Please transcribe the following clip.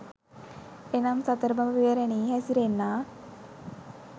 එනම්, සතර බඹ විහරණයෙහි හැසිරෙන්නා